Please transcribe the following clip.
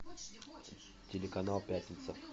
телеканал пятница